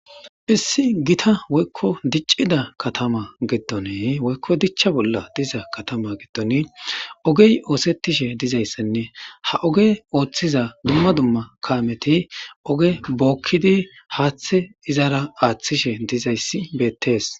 Issi gita woykko diccida katama giddoni woykko dichcha bolla diza katama giddon ogey iosettishe dizayssanne ha oge oothiza dumma kaameti oge bookkidi haathe izara aathishe dizayssi beettees.